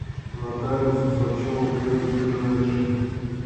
нотариус усачева кс ближайший